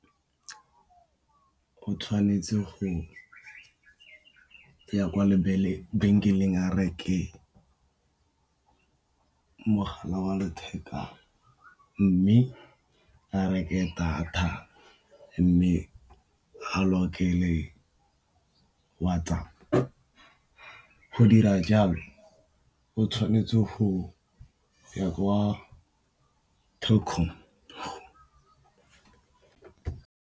Go tshwanetse go ya kwa lebenkeleng a reke mogala wa letheka, mme a reke data mme a lokele WhatsApp go dira jalo o tshwanetse go ya kwa Telkom.